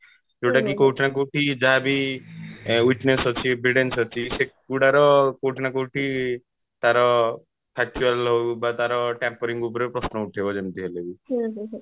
ଯୋଉଟା କି କୋଉଠି ନା କୋଉଠି ଯାହା ବି witness ଅଛି evidence ଅଛି ସେଇଗୁଡାର କୋଉଠି ନା କୋଉଠି ତାର ହଉ କି ତାର tampering ଉପରେ ପ୍ରଶ୍ନ ଉଠେଇବ ଯେମିତି ହେଲେ ବି